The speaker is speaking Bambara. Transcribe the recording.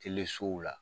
Telesow la